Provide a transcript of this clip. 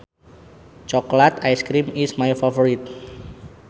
Chocolate ice cream is my favorite